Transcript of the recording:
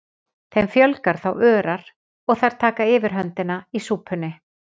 Þeim fjölgar þá örar og þær taka yfirhöndina í súpunni.